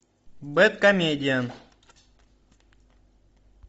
бэдкомедиан